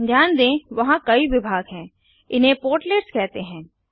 ध्यान दें वहाँ कई विभाग हैं इन्हें पोर्टलेट्स कहते हैं